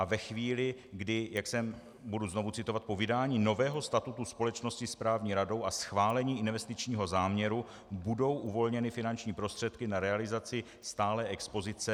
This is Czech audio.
A ve chvíli, kdy jak jsem - budu znovu citovat: "Po vydání nového statutu společnosti správní radou a schválení investičního záměru budou uvolněny finanční prostředky na realizaci stálé expozice."